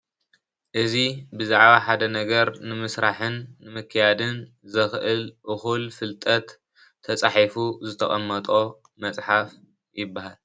እዚ ብዛዕባ ሓደ ነገር ንምስራሕን ንምክያድን ዘኽእል እኹል ፍልጠት ተጻሒፉ ዝተቐመጦ መጽሓፍ ይበሃል።